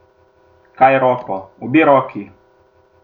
Kaj roko, obe roki!